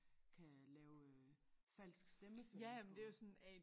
Kan lave øh falsk stemmeføring øh